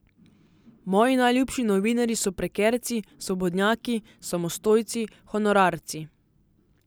Moji najljubši novinarji so prekerci, svobodnjaki, samostojci, honorarci.